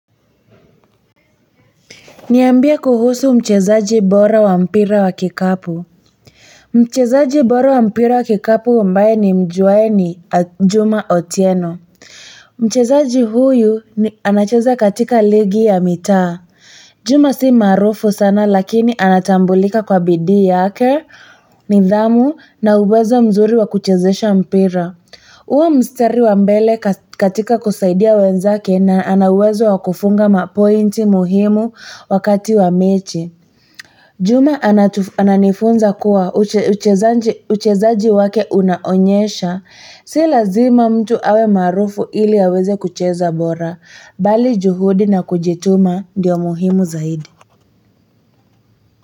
Niambie kuhusu mchezaji bora wa mpira wa kikapu. Mchezaji bora wa mpira wa kikapu ambaye nimjuae ni Juma Otieno. Mchezaji huyu anacheza katika ligi ya mitaa. Juma si maarufu sana lakini anatambulika kwa bidii yake, nidhamu na uwezo mzuri wa kuchezesha mpira. Huwa mstari wa mbele katika kusaidia wenzake na ana uwezo wa kufunga mapointi muhimu wakati wa mechi. Juma ananifunza kuwa uchezaji wake unaonyesha, si lazima mtu awe maarufu ili aweze kucheza bora, bali juhudi na kujituma ndivyo muhimu zaidi.